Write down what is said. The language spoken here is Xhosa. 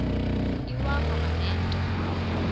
iwakho ngale nto